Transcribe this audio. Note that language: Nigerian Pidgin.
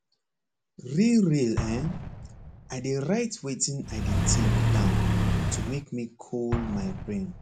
real real hen i dey write wetin i dey think down to make me cool my brain